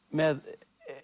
með